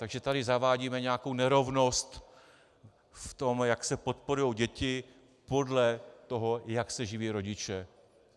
Takže tady zavádíme nějakou nerovnost v tom, jak se podporují děti podle toho, jak se živí rodiče.